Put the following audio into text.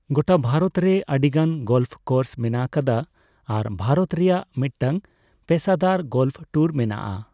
ᱜᱚᱴᱟ ᱵᱷᱟᱨᱚᱛ ᱨᱮ ᱟᱹᱰᱤᱜᱟᱱ ᱜᱚᱞᱯᱷ ᱠᱳᱨᱥ ᱢᱮᱱᱟᱜ ᱟᱠᱟᱫᱟ ᱟᱨ ᱵᱷᱟᱨᱚᱛ ᱨᱮᱭᱟᱜ ᱢᱤᱫᱴᱟᱝ ᱯᱮᱥᱟᱫᱟᱨ ᱜᱚᱞᱯᱷ ᱴᱩᱨ ᱢᱮᱱᱟᱜᱼᱟ ᱾